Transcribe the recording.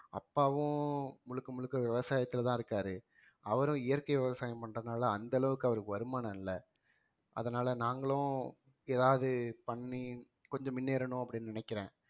அப்பாவும் முழுக்க முழுக்க விவசாயத்துலதான் இருக்காரு அவரும் இயற்கை விவசாயம் பண்றதுனால அந்த அளவுக்கு அவருக்கு வருமானம் இல்லை அதனால நாங்களும் ஏதாவது பண்ணி கொஞ்சம் முன்னேறணும் அப்படின்னு நினைக்கிறேன்